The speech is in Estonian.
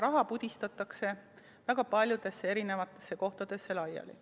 Raha pudistatakse väga paljudesse kohtadesse laiali.